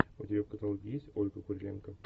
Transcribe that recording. у тебя в каталоге есть ольга куриленко